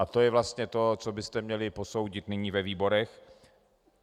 A to je vlastně to, co byste měli posoudit nyní ve výborech.